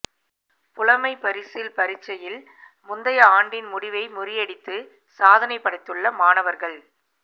புலமைப்பரிசில் பரீட்சையில் முந்தைய ஆண்டின் முடிவை முறியடித்து சாதனை படைத்துள்ள மாணவர்கள்